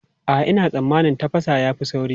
A'a, ina tsammanin tafasa ya fi sauri.